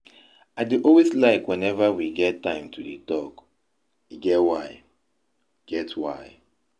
I dey always like whenever we get time to dey talk. E get why. get why.